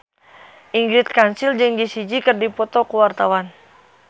Ingrid Kansil jeung Jessie J keur dipoto ku wartawan